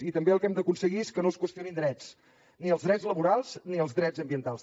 i també el que hem d’aconseguir és que no es qüestionin drets ni els drets laborals ni els drets ambientals